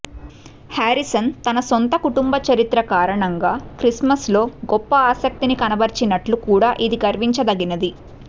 Harrison తన సొంత కుటుంబ చరిత్ర కారణంగా క్రిస్మస్లో గొప్ప ఆసక్తిని కనబరిచినట్లు కూడా ఇది గర్వించదగినది